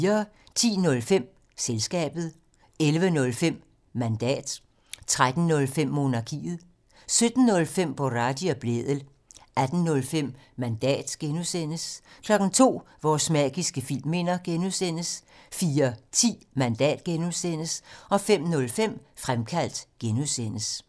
10:05: Selskabet 11:05: Mandat 13:05: Monarkiet 17:05: Boraghi og Blædel 18:05: Mandat (G) 02:00: Vores magiske filmminder (G) 04:10: Mandat (G) 05:05: Fremkaldt (G)